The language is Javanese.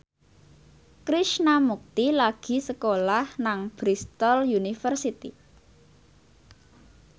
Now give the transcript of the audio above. Krishna Mukti lagi sekolah nang Bristol university